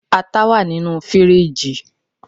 ata wa ninu firiji